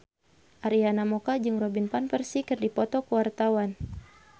Arina Mocca jeung Robin Van Persie keur dipoto ku wartawan